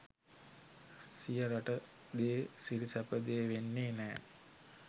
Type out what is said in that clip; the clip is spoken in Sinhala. සිය රට දේ සිරි සැප දේ වෙන්නේ නෑ